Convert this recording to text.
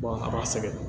a b'a sɛgɛn